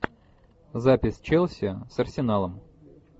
запись челси с арсеналом